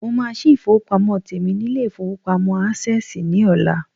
Mo máa sí ifowopamo tèmi nilé-ifowopamo access ní ọlá.